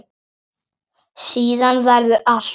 Síðan verður allt hljótt.